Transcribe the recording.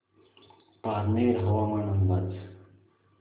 पारनेर हवामान अंदाज